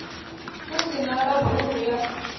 u si na labulu ya